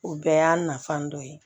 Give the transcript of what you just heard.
O bɛɛ y'a nafa dɔ ye